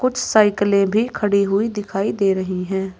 कुछ साइकिलें भी खड़ी हुई दिखाई दे रहीं हैं।